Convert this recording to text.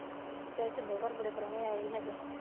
ਅੱਛਾ ਸ਼ਿੰਦੋਂ ਘਰ ਬੜੇ ਪਰਉਣੇ ਆਏ ਸੀ ਅੱਜ